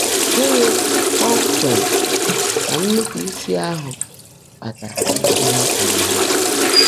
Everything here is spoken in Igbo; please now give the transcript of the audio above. Gị́ní kpọ́mkpéém kà nnụ́pụ́ísí áhụ́ kpaàtáárá íhe á kpọ́ọ́ró mmádụ́?